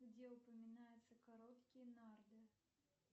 где упоминаются короткие нарды